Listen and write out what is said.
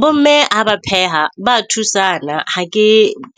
Bo mme ha ba pheha, ba thusana ha ke